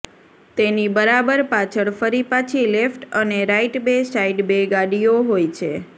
તેની બરાબર પાછળ ફરી પાછી લેફ્ટ અને રાઈટ બે સાઈડ બે ગાડીઓ હોય છે